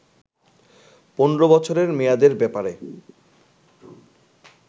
১৫বছরের মেয়াদের ব্যাপারে